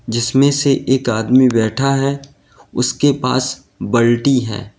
जिसमें से एक आदमी बैठा है उसके पास बल्टी है।